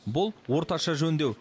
бұл орташа жөндеу